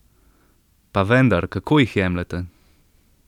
Pa vendar, kako jih jemljete?